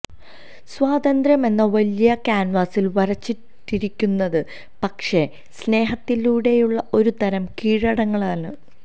സ്വാതന്ത്ര്യം എന്ന വലിയ കാന്വാസില് വരച്ചിട്ടിരിക്കുന്നത് പക്ഷെ സ്നേഹത്തിലൂടെയുള്ള ഒരു തരം കീഴടങ്ങലാണ്